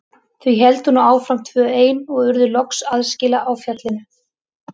Þau héldu nú áfram tvö ein og urðu loks aðskila á fjallinu.